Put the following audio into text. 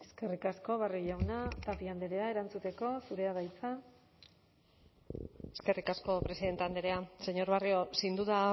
eskerrik asko barrio jauna tapia andrea erantzuteko zurea da hitza eskerrik asko presidente andrea señor barrio sin duda